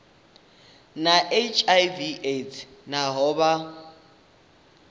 na hiv aids nahone vha